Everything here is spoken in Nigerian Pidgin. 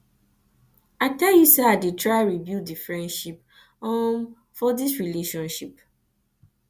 i tell you sey i sey i dey try rebuild di friendship um for di relationship